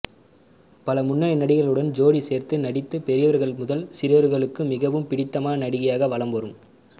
பல முன்னணி நடிகர்களுடன் ஜோடி சேர்ந்து நடித்து பெரியவர்கள் முதல் சிரியவர்களுக்கும் மிகவும் பிடித்தமான நடிகையாக வலம் வரும்